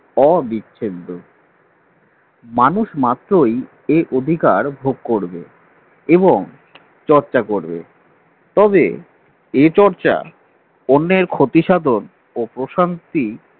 অবিচ্ছেদ্য মানুষ মাত্রই এই অধিকার ভোগ করবে এবং চর্চা করবে তবে এ চর্চা অন্যের ক্ষতিসাধন ও প্রশান্তি